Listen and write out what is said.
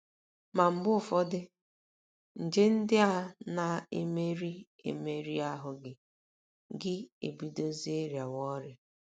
Ma mgbe ụfọdụ, nje ndị a na - emeri emeri ahụ́ gị, gị ebidozie rịawa ọrịa.